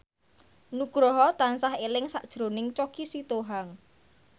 Nugroho tansah eling sakjroning Choky Sitohang